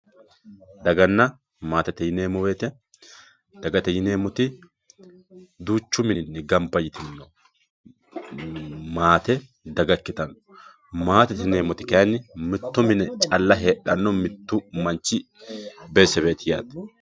Daganna maattette yineemo woyite, dagate yineemo woyite duuchu mininni gamba yitino maatte daga ikkitanno, maattette yineemoti kayinni mito mine calla heedhano mitu manchi callu beetesebeti yaate